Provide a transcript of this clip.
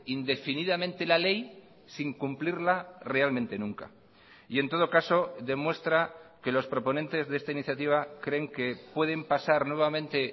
indefinidamente la ley sin cumplirla realmente nunca y en todo caso demuestra que los proponentes de esta iniciativa creen que pueden pasar nuevamente